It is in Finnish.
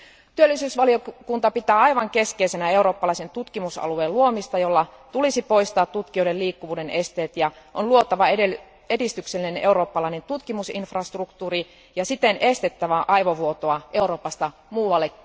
Työllisyysvaliokunta pitää aivan keskeisenä eurooppalaisen tutkimusalueen luomista, jolla olisi poistettava tutkijoiden liikkuvuuden esteet ja luotava edistyksellinen eurooppalainen tutkimusinfrastruktuuri ja siten estettävä aivovuotoa Euroopasta muualle.